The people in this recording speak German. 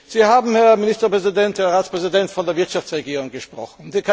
Sie haben, Herr Ministerpräsident, Herr Ratspräsident, von der Wirtschaftsregierung gesprochen.